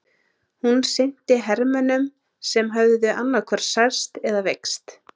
Hún sinnti hermönnum sem höfðu annaðhvort særst eða veikst.